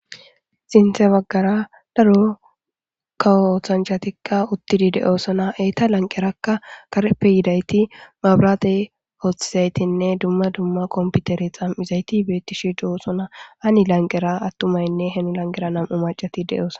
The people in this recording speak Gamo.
Sinthe baggara daro kawoothanchatikka uttidi de7oosona eeta lanqerakka kareppe yidayti mabraade oothesaytinne dumma dumma komputere xam7izayti beettishi doosona ani lanqera attumaynne hem lanqera nam7u macati de7ooso.